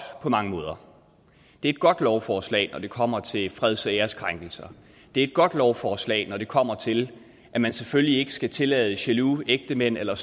på mange måder det er et godt lovforslag når det kommer til freds og æreskrænkelser det er et godt lovforslag når det kommer til at man selvfølgelig ikke skal tillade jaloux ægtemænd eller